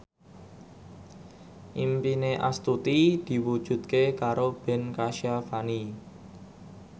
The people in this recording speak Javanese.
impine Astuti diwujudke karo Ben Kasyafani